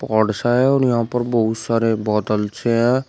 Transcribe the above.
ओड़सा white सा है और यहां पर बहुत सारे बादल छे हैं।